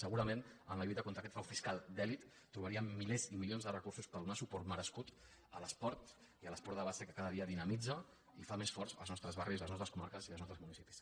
segurament en la lluita contra aquest frau fiscal d’elit trobaríem milers i milions de recursos per donar suport merescut a l’esport i a l’esport de base que cada dia dinamitza i fa més forts els nostres barris les nostres comarques i els nostres municipis